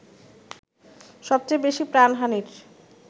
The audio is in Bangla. সবচেয়ে বেশি প্রাণহানির